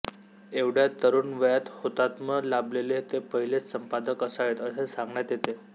एवढ्या तरुण वयात हौतात्म्य लाभलेले ते पहिलेच संपादक असावेत असे सांगण्यात येते